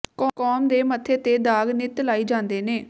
ਕੌਮ ਦੇ ਮੱਥੇ ਤੇ ਦਾਗ ਨਿੱਤ ਲਾਈ ਜਾਂਦੇ ਨੇ